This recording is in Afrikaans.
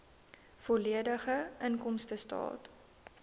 volledige inkomstestaat